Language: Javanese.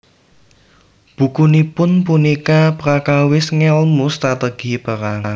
Bukunipun punika prakawis ngèlmu strategi perang